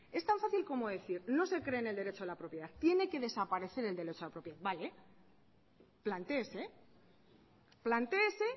es tan fácil como decir no se cree en el derecho a la propiedad tiene que desaparecer el derecho a la propiedad vale plantéese